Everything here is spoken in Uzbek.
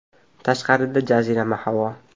Tashqarida jazirama havo.